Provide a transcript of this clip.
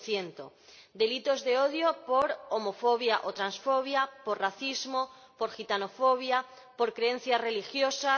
10 Delitos de odio por homofobia o transfobia, por racismo, por gitanofobia, por creencias religiosas